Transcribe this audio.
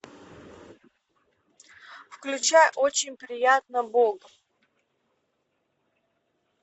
включай очень приятно бог